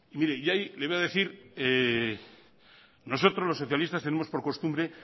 y le voy a decir nosotros los socialistas tenemos por costumbre